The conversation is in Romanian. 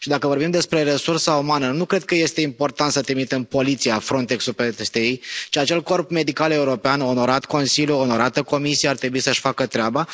Și dacă vorbim despre resursa umană, nu cred că este important să trimitem poliția, Frontex ul, peste ei, ci acel corp medical european, onorat Consiliu, onorată Comisie, ar trebui să și facă treaba.